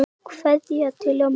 Kveðja til ömmu.